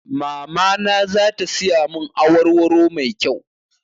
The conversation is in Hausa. Mamana za ta siya mun awar waro mai kyau